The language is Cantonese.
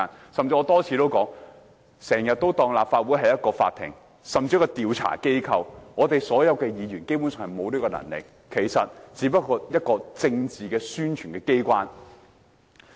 我甚至多次提到，有人經常把立法會當作一個法庭，甚至是調查機構，但議員其實沒有這權力，立法會只是一個政治宣傳的機關。